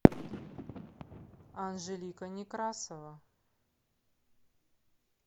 анжелика некрасова